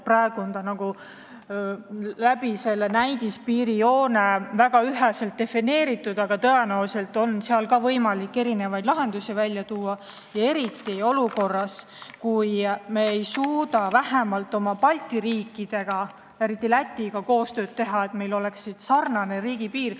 Praegu on see selle näidispiirijoone kaudu väga üheselt defineeritud, aga tõenäoliselt on võimalik erinevaid lahendusi välja tuua, eriti olukorras, kus me ei suuda vähemalt teiste Balti riikidega, eriti Lätiga teha koostööd, et meil oleks sarnane riigipiir.